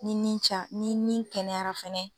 Ni ni ca ni nin kɛnɛyara fɛnɛ.